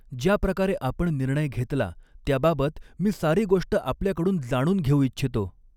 ज्या प्रकारे आपण निर्णय़ घेतला, त्याबाबत मी सारी गोष्ट आपल्याकडून जाणून घेऊ इच्छितो.